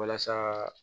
Walasa